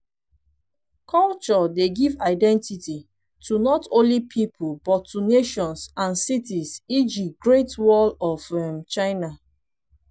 culture dey give identity to not only pipo but to nations and cities eg great wall of um china